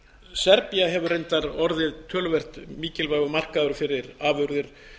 serbía hefur reyndar orðið töluvert mikilvægur markaður fyrir afurðir